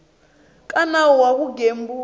ka nawu wa vugembuli bya